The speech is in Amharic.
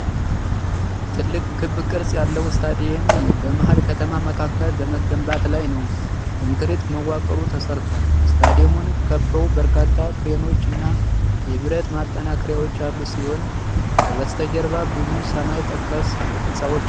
ትልቅ ክብ ቅርጽ ያለው ስታዲየም በመሃል ከተማ መካከል በመገንባት ላይ ነው። ኮንክሪት መዋቅሩ ተሠርቷል፤ ስታዲየሙን ከበው በርካታ ክሬኖች እና የብረት ማጠናከሪያዎች ያሉ ሲሆን ከበስተጀርባ ብዙ ሰማይ ጠቀስ ሕንፃዎች አሉ።